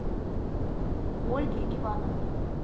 ольге ивановне